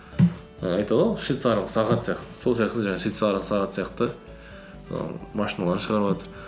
і айтады ғой швецарлық сағат сияқты сол сияқты жаңағы швецарлық сағат сияқты ііі машиналар шығарыватыр